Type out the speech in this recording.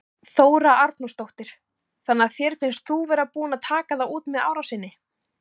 Þóra Arnórsdóttir: Þannig að þér finnst þú vera búinn að taka það út með árásinni?